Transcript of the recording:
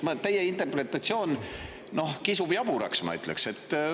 Teie interpretatsioon, noh, kisub jaburaks, ma ütleksin.